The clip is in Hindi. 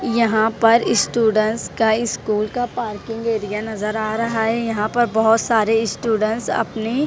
यहां पर स्टूडेंट्स का इस स्कूल का पार्किंग एरिया नज़र आ रहा है यहां पर बहुत सारे स्टूडेंट्स अपने--